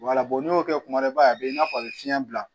n'i y'o kɛ kuma dɔ i b'a a b'i n'a fɔ a bɛ fiɲɛ bila